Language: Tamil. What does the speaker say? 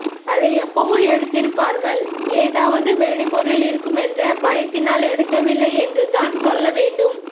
அதை எப்பபோவோ எடுத்திருப்பார்கள் ஏதாவது வெடிபொருள் இருக்கும் என்ற பயத்தினால் எடுக்கவில்லை என்றுதான் சொல்ல வேண்டும்